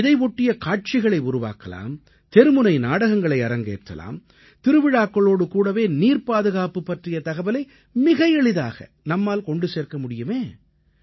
இதை ஒட்டிய காட்சிகளை உருவாக்கலாம் தெருமுனை நாடகங்களை அரங்கேற்றலாம் திருவிழாக்களோடு கூடவே நீர்ப் பாதுகாப்பு பற்றிய தகவலை மிக எளிதாக நம்மால் கொண்டு சேர்க்க முடியுமே